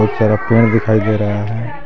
सारा पेड़ दिखाई दे रहा है।